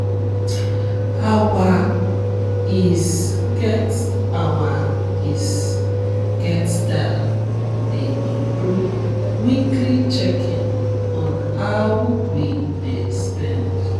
our is get our is get style dey include weekly checking on how we dey spend.